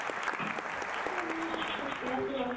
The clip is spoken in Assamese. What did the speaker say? হুম ঠিকে আছে বাৰু